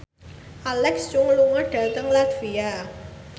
Alexa Chung lunga dhateng latvia